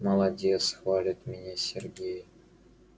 молодец хвалит меня сергей